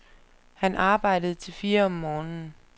Han arbejdede til fire om morgenen.